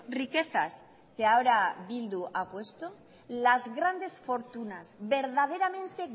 riquezas que ahora bildu ha puesto las grandes fortunas verdaderamente